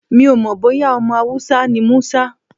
Mi ò mọ̀ bóyá ọmọ Hausa ni Musa.